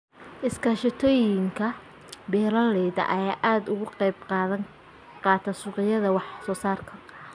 Iskaashatooyinka beeralayda ayaa aad uga qayb qaata suuqgeynta wax soo saarka.